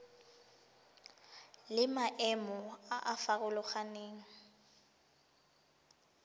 le maemo a a farologaneng